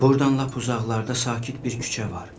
Burdan lap uzaqlarda sakit bir küçə var.